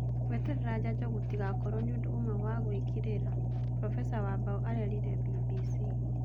" Gueterera njanjo gũtigakorwo nĩũndũ ũmwe wagũĩkirira," Profesa Wambao arerire Mbimbisi.